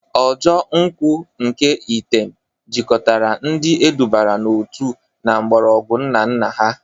Ojo nkwu nke item jikọtara ndi edubara n'otu na mgbọrọgwụ nna nna ha.